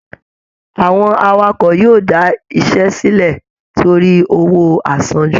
Àwọn Awakọ̀ yóò da iṣẹ́ sílẹ̀ torí owó àsanjù